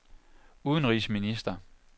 udenrigsminister